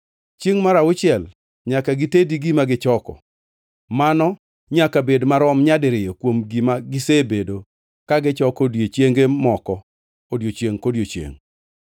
Chiengʼ mar auchiel nyaka gitedi gima gichoko, mano nyaka bed marom nyadiriyo kuom gima gisebedo ka gichoko odiechienge moko odiechiengʼ kodiechiengʼ.